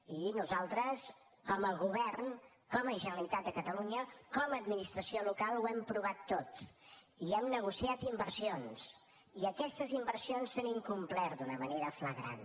i nosaltres com a govern com a generalitat de catalunya com a administració local ho hem provat tot i hem negociat inversions i aquestes inversions s’han incomplert d’una manera flagrant